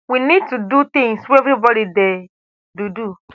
we need to do tins wey evribody dey do do